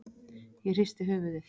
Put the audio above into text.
Ég hristi höfuðið.